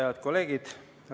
Head kolleegid!